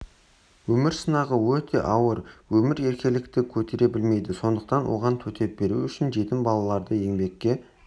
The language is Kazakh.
өмір сынағы өте ауыр өмір еркелікті көтере білмейді сондықтан оған төтеп беру үшін жетім балаларды еңбекке